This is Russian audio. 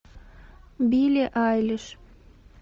билли айлиш